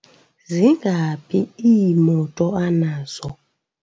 zingaphi iimoto anazo?